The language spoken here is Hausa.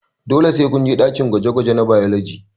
Dole sai kunje ɗakin gwaje gwaje na bailoji